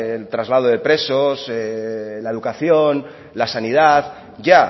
del traslado de presos la educación la sanidad ya